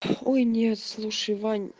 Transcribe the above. ой нет слушай вань